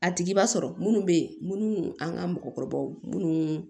A tigi b'a sɔrɔ munnu bɛ ye munnu an ka mɔgɔkɔrɔbaw munnu